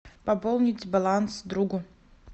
пополнить баланс другу